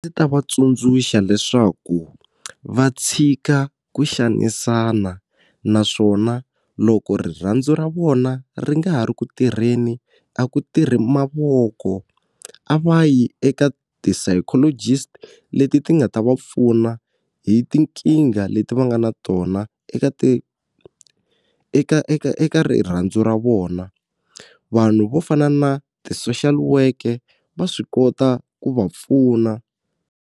Ndzi ta va tsundzuxa leswaku va tshika ku xanisana naswona loko rirhandzu ra vona ri nga ha ri ku tirheni a ku tirhi mavoko a va yi eka ti-psychologist-i leti ti nga ta va pfuna hi tinkingha leti va nga na tona eka ti eka eka eka rirhandzu ra vona vanhu vo fana na ti-social worker va swi kota ku va pfuna.